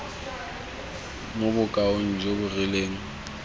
mo bokaong jo bo rileng